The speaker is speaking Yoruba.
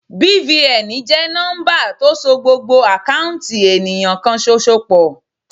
BVN jẹ́ nọ́ḿbà tó so gbogbo àkáùntì ènìyàn kan ṣoṣo pọ̀.